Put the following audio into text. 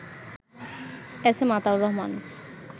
SM Ataur Rahman